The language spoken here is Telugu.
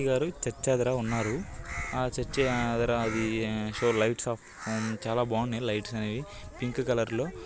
చర్చి దగ్గర ఉన్నారు. ఆ చర్చ్ ఎదర ఫోర్ లైట్స్ ఆఫ్ . చాలా బాగున్నాయి లైట్స్ అనేవి. పింకు కలర్ లో --